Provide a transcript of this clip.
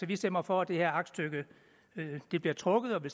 vi stemmer for at det her aktstykke bliver trukket og vi